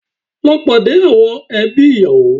Lọ pàdé àwọn ẹbí ìyàwó